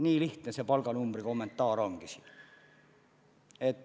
Nii lihtne selle palganumbri kommentaar ongi.